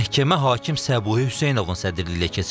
Məhkəmə hakim Səbuhi Hüseynovun sədrliyi ilə keçirilib.